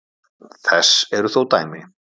Þess eru þó dæmi.